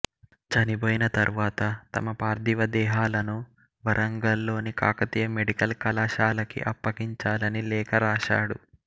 చనిపోయిన తర్వాత తమ పార్థివ దేహాలను వరంగల్ లోని కాకతీయ మెడికల్ కళాశాలకి అప్పగించాలని లేఖరాశాడు